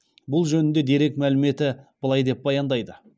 бұл жөнінде дерек мәліметі былай деп баяндайды